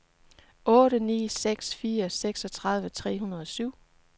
otte ni seks fire seksogtredive tre hundrede og syv